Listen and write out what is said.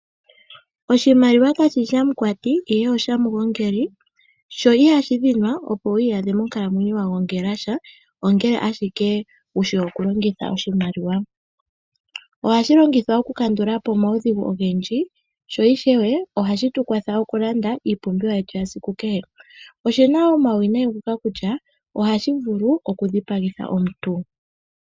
Oshimaliwa kashi shi shamukwati, ihe oshamugongeli, sho ihashi dhinwa opo wu iyadhe mokukalamwenyo wa gongela sha, ongele ashike wu shi okulongitha oshimaliwa. Ohashi longithwa okukandula po omaudhigu ogendji, sho ishewe ohashi tu kwatha okulanda iipumbiwa yetu yasiku kehe. Oshi na wo omauwinayi ngoka kutya ohashi vulu okudhipagitha omuntu.